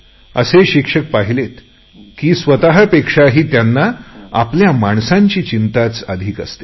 असेही शिक्षक मी पाहिलेत की स्वतपेक्षाही ज्यांना आपल्या माणसांची चिंताच अधिक असते